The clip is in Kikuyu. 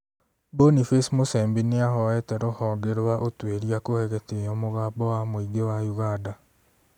Boniface Musembi nĩahoete rũhonge rwa ũtuĩria kuhe gĩtĩo mũgambo wa mũingĩ wa Uganda